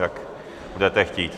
Jak budete chtít.